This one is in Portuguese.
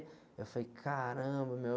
Eu falei, caramba, meu.